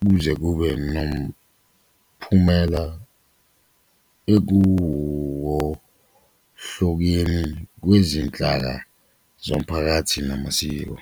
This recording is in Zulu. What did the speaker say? kuze kube nomphumela ekuwohlokeni kwezinhlaka zomphakathi namasiko.